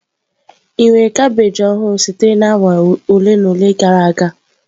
Ị nwere kabeeji ọhụrụ sitere na awa ole na ole gara aga?